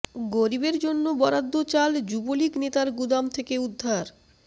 গরিবের জন্য বরাদ্দ চাল যুবলীগ নেতার গুদাম থেকে উদ্ধার